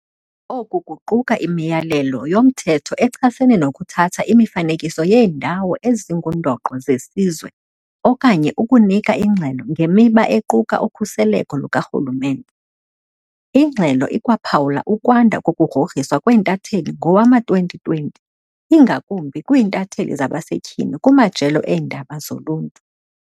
Oku kuquka imiyalelo yomthetho echasene nokuthatha imifanekiso yeeNdawo ezinguNdoqo zeSizwe okanye ukunika ingxelo ngemiba equka ukhuseleko lukarhulumente. Ingxelo ikwaphawula ukwanda kokugrogriswa kweentatheli ngowama-2020, ingakumbi kwiintatheli zabasetyhini kumajelo eendaba zoluntu.